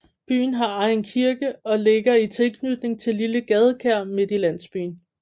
Byen har egen kirke og ligger i tilknytning til et lille gadekær midt i landsbybyen